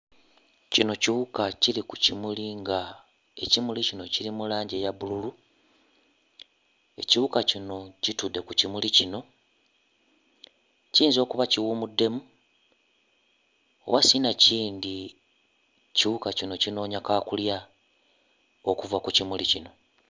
Kino kiwuka kiri ku kimuli ng'ekimuli kino kiri mu langi eya bbululu. Ekiwuka kino kitudde ku kimuli kino, kiyinza okuba kiwummuddemu oba sinakindi ekiwuka kino kinoonya kaakulya okuva ku kimuli kino.